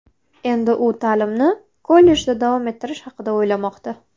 Endi u ta’limni kollejda davom ettirish haqida o‘ylamoqda.